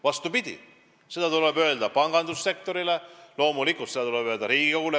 Vastupidi, see tuleb teada anda pangandussektorile ja loomulikult ka Riigikogule.